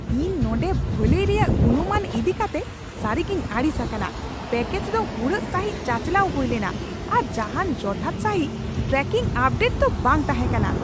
ᱤᱧ ᱱᱚᱸᱰᱮ ᱵᱷᱟᱹᱞᱟᱹᱭ ᱨᱮᱭᱟᱜ ᱜᱩᱱᱢᱟᱱ ᱤᱫᱤ ᱠᱟᱛᱮ ᱥᱟᱹᱨᱤᱜᱤᱧ ᱟᱹᱲᱤᱥ ᱟᱠᱟᱱᱟ ᱾ᱯᱮᱹᱠᱮᱡᱽ ᱫᱚ ᱦᱩᱲᱟᱹᱜ ᱥᱟᱹᱦᱤᱡ ᱪᱟᱪᱟᱞᱟᱣ ᱦᱩᱭ ᱞᱮᱱᱟ, ᱟᱨ ᱡᱟᱦᱟᱱ ᱡᱚᱛᱷᱟᱛ ᱥᱟᱹᱦᱤᱡ ᱴᱨᱟᱠᱤᱝ ᱟᱯᱰᱮᱴ ᱫᱚ ᱵᱟᱝ ᱛᱟᱦᱮᱸ ᱠᱟᱱᱟ !